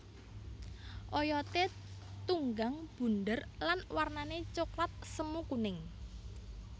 Oyoté tunggang bunder lan warnané coklat semu kuning